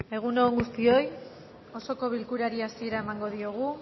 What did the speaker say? egun on guztioi osoko bilkurari hasiera emango diogu